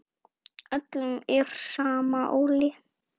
Öllum sama.